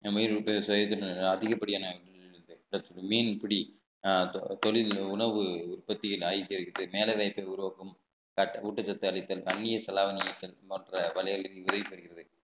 உம் அதிகப்படியான மீன்பிடி தொழில் உணவு உற்பத்தியில் ஆயிட்டே இருக்குது வேலை வாய்ப்பை உருவாக்கும் ஊட்டச்சத்து அழித்தல் அந்நிய செலாவணி மற்ற வழிகளுக்கு உதவி பெறுகிறது